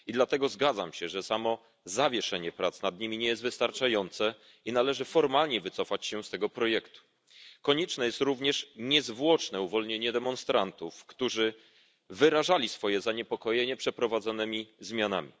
I dlatego zgadzam się, że samo zawieszenie prac nad nimi nie jest wystarczające, i należy formalnie wycofać się z tego projektu. Konieczne jest również niezwłoczne uwolnienie demonstrantów, którzy wyrażali swoje zaniepokojenie przeprowadzonymi zmianami.